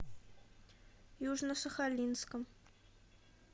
южно сахалинском